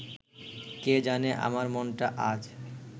কে জানে আমার মনটা আজ